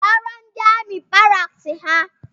Rọrọ ndi amị baraks ha